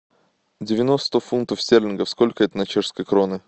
девяносто фунтов стерлингов сколько это на чешские кроны